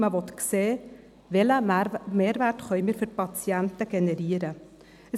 Man will sehen, welchen Mehrwert wir für die Patienten generieren können.